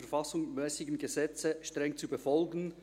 Bruno Martin wird den Eid ablegen.